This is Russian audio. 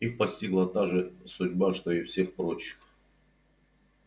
их постигла та же судьба что и всех прочих